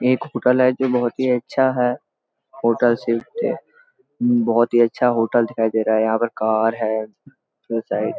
एक होटल है जो बहुत ही अच्छा है होटल से बहुत ही अच्छा होटल दिखाई दे रहा है यहाँ पर कार है साइड --